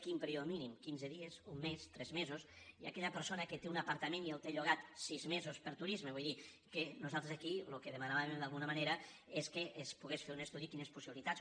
quin període mínim quinze dies un mes tres mesos i aquella persona que té un apartament i el té llogat sis mesos per a turisme vull dir que nosal·tres aquí el que demanàvem d’alguna manera és que es pogués fer un estudi sobre quines possibilitats